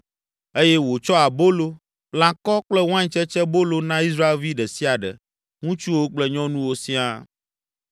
eye wòtsɔ abolo, lãkɔ kple waintsetsebolo na Israelvi ɖe sia ɖe, ŋutsuwo kple nyɔnuwo siaa.